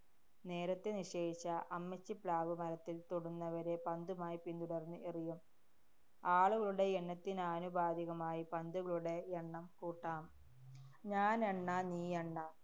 നേരത്തെ നിശ്ചയിച്ച അമ്മച്ചിപ്ളാവ് മരത്തില്‍ തൊടുന്നതുവരെ പന്തുമായി പിന്തുടര്‍ന്ന് എറിയും. ആളുകളുടെ എണ്ണത്തിനാനുപാതികമായി പന്തുകളുടെ എണ്ണം കൂട്ടാം. ഞാനെണ്ണ-നീയണ്ണ.